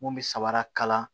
Mun bɛ sabara kala